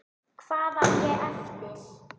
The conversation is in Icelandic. Hvað á ég eftir?